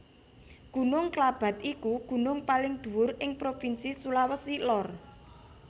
Gunung Klabat iku gunung paling dhuwur ing Provinsi Sulawesi Lor